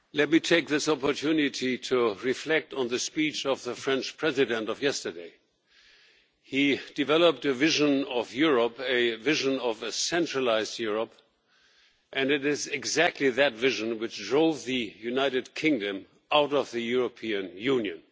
Mr President, let me take this opportunity to reflect on the speech of the French President of yesterday he developed a vision of Europe, a vision of a centralised Europe, and it is exactly that vision which drove the United Kingdom out of the European Union.